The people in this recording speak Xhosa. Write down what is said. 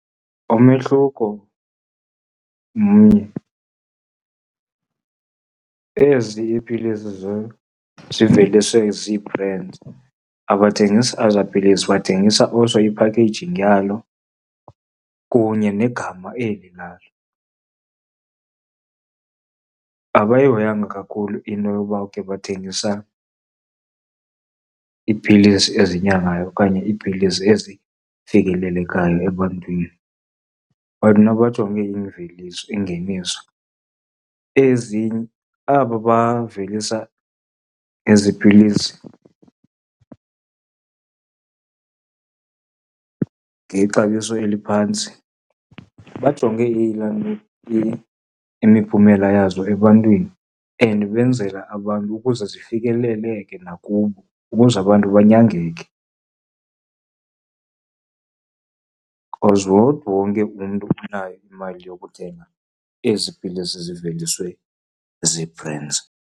Umehluko mnye, ezi iipilisi ziveliswe zii-brands, abathengisi eza pilisi bathengisa also iphakheyijingi yalo kunye negama eli lalo. Abayihoyanga kakhulu into yoba okay bathengisa iipilisi ezinyangayo okanye iipilisi ezifikelelekayo ebantwini, bona bajonge imveliso, ingeniso. Ezi, aba bavelisa ezi pilisi ngexabiso eliphantsi bajonge ilantuka, imiphumela yazo ebantwini and benzela abantu ukuze zifikeleleke nakubo, ukuze abantu banyangeke. Because not wonke umntu unayo imali yokuthenga ezi pilisi ziveliswe zi-brands.